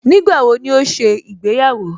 Nígbàwo ni ó ṣe ìgbéyàwó?